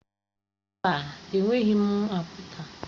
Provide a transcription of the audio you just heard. Mba, enweghị m akpata.